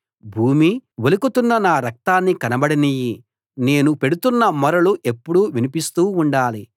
భూమీ ఒలుకుతున్న నా రక్తాన్ని కనబడనియ్యి నేను పెడుతున్న మొరలు ఎప్పుడూ వినిపిస్తూ ఉండాలి